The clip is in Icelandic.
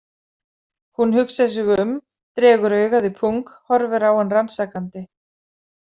Hún hugsar sig um, dregur augað í pung, horfir á hann rannsakandi.